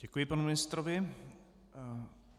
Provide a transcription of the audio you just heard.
Děkuji panu ministrovi.